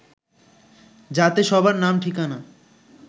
যাতে সবার নাম ঠিকানা